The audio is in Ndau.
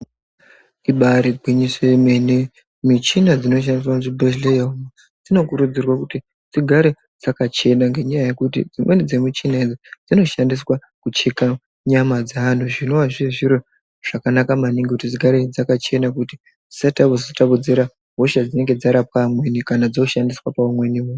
Ibari gwinyiso remene. Michina dziinoshaniswa muzvibhedhleya umwo dzinokurudzirwa kuti dzigare dzakachena ngenyaya yekuti dzimweni dzemuchina idzi dzinoshandiswa kucheka nyama dzeantu, zvinova zviri zviro zvakanaka maningi kuti dzigare dzakachena, kuti dzisazotapudzira hosha dzinenge dzarapwa amweni kana dzoshandiswa paumweni muntu.